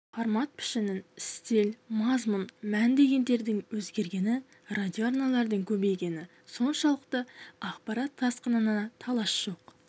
формат пішін стиль мазмұн мән дегендердің өзгергені радиоарналардың көбейгені соншалықты ақпарат тасқынына талас жоқ